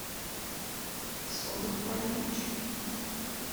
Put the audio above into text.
сонный паралич